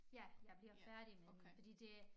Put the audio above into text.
Ja jeg bliver færdig med den fordi det